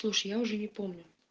слушай я уже не помню